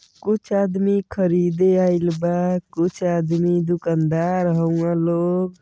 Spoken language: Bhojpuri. कुछ आदमी ख़रीदे आईल बा कुछ आदमी दूकानदार हउवन लोग।